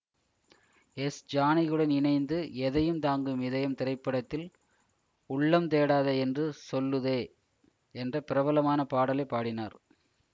S ஜானகியுடன் இணைந்து எதையும் தாங்கும் இதயம் திரைப்படத்தில் உள்ளம் தேடாதே என்று சொல்லுதே என்ற பிரபலமான பாடலை பாடினார்